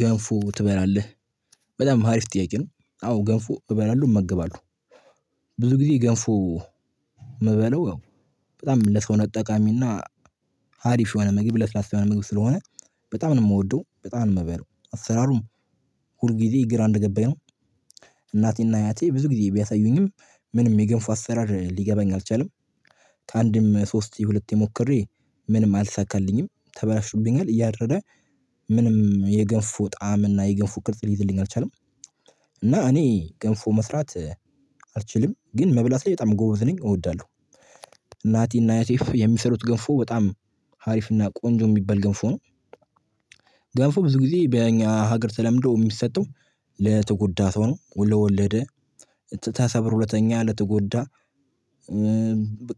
ገንፎ ትበላለህ? በጣም ሀሪፍ ጥያቄ ነው አዎ ገንፎ እበላለሁ እመገባለሁ። ብዙ ጊዜ ገንፎ ምበላው። በጣም ለሰው ነጠቃሚና ሀሪፍ የሆነ መግብ ለስላሳ የሆነ መግብ ስለሆነ በጣም ነው የምወደው በጣም ነው ነው የምበለው። አሰራሩም ሁል ጊዜ ግራ የገባኝ ነው። እናቴና እያቴ ብዙ ጊዜ ቢያሳዩኝም ምንም የገንፉ አሰራር ሊገባኝ አልቻለም። ሶስት የሁለት ሞክረ ምንም አልሳካልኝም ተበላሹብኛል እያደረረ። ምንም የገንፎ ጣዕም እና የገንፎ ቅርጽ ሊይዝልኝ አልቻለም። እና እኔ ገንፎ መስራት አልችልም ግን መብላት ላይ በጣም ጎበዝ ነኝ እወዳለሁ። እናቲና አያቴፍ ገንፎ በጣም ሀሪፍና ቆንጆ የሚበል ገንፎ ነው። ብዙ ጊዜ በእኛ ሀገር ተለምዶ የሚሰጠው ለተጎዳ ሰው ሆኖ ወለደ። ተሰብሮ ለተኛ ለተጎዳ